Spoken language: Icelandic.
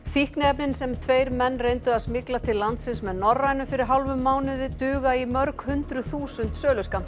fíkniefnin sem tveir menn reyndu að smygla til landsins með Norrænu fyrir hálfum mánuði duga í mörg hundruð þúsund